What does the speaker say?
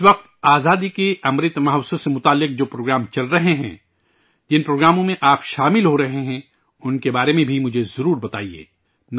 اس وقت آزادی کے امرت مہوتسو سے جڑے جو پروگرام چل رہے ہیں، جن پروگرام میں آپ شامل ہورہے ہیں، ان کے بارے میں بھی مجھے ضرور بتائیے